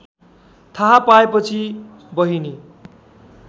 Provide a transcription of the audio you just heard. थाहा पाएपछि बहिनी